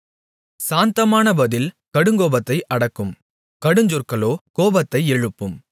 சாந்தமான பதில் கடுங்கோபத்தை அடக்கும் கடுஞ்சொற்களோ கோபத்தை எழுப்பும்